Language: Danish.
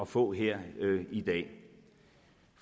få her i dag